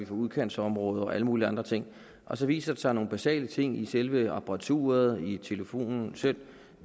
for udkantsområder og alle mulige andre ting og så viser det sig at nogle basale ting i selve apparaturet i telefonen selv